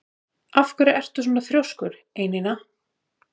Af hverju ertu svona þrjóskur, Einína?